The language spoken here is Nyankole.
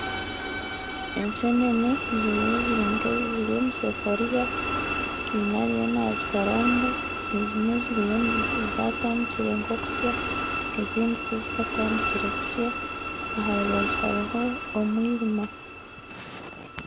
Ensenene ziriyo zirinka eziri omusefuriya heine ariyo nazikaranga ezimwe ziriyo zatandikire nk'okusya ezindi tizikatandikire kusya aharubaju haruho omwirima